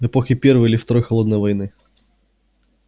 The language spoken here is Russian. в эпохи первой или второй холодной войны